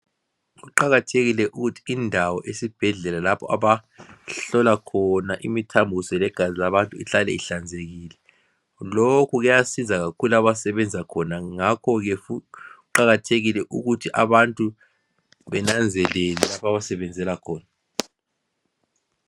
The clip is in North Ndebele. kuqakathekile ukuthi indawo esibhedlela lapho abahlola khona imithambo legazi labantu ihlale ihlanzekile lokhukuyasiza kakhulu abasebenza khona ngakho ke futhi kuqakathekile ukuthi abantu benanzelele lapha abasebenzela khona